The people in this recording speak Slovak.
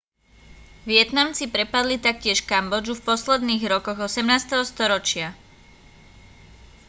vietnamci prepadli taktiež kambodžu v posledných rokoch 18. storočia